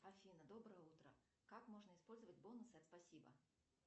афина доброе утро как можно использовать бонусы от спасибо